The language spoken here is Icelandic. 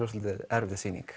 verið erfið sýning